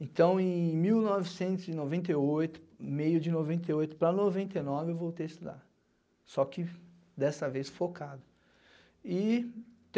Então, em mil novecentos e noventa e oito, meio de noventa e oito para noventa e nove, eu voltei a estudar, só que dessa vez focado. E